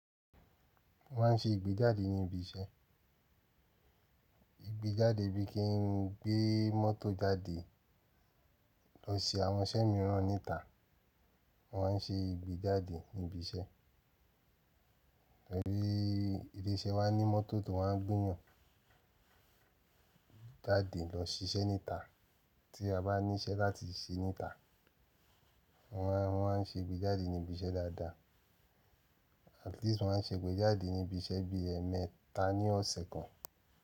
Mọ́ maá ń ṣe ìgbéjáde ní ibi iṣẹ́. Ìgbéjáde bíi kí n gbé mọ́tò jáde lọ ṣe àwọn iṣẹ́ mìíràn níta. Wọ́n á ń ṣe ìgbéjáde ní ibi iṣẹ́. Tọ́rí ilé iṣẹ́ wa ní mọ́tò tí wọ́n wá gbe eeyàn jáde lọ ṣiṣẹ́ níta tí a bá níṣẹ́ láti ṣẹ níta. Mọ́ maa n, mo maá ń ṣe ìgbéjáde ní ibi iṣẹ́ dáadáa. At least mọ́ maá ń ṣe ìgbéjáde ní ibi iṣẹ́ bí i ẹ̀ẹ̀mẹta ní ọ̀sẹ̀ kan.